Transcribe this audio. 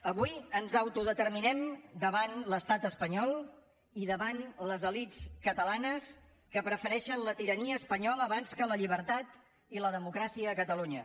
avui ens autodeterminem davant l’estat espanyol i davant les elits catalanes que prefereixen la tirania espanyola abans que la llibertat i la democràcia a catalunya